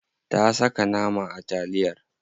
Ta saka nama a taliyar.